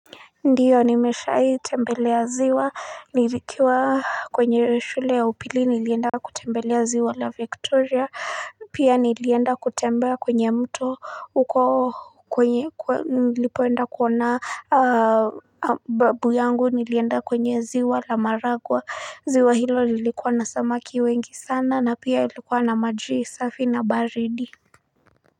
Ndiyo nimeshai tembelea ziwa nilikuwa kwenye shule ya upili nilienda kutembelea ziwa la victoria pia nilienda kutembelea kwenye mto huko kwenye nilipoenda kuona babu yangu nilienda kwenye ziwa la maragua ziwa hilo lilikuwa na samaki wengi sana na pia ilikuwa na maji safi na baridi.